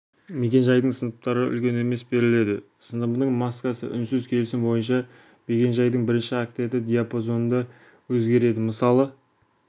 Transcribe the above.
мекен-жайдың сыныптары үлкен емес беріледі сыныбының маскасы үнсіз келісім бойынша мекен-жайдың бірінші октеті диапазонында өзгереді мысалы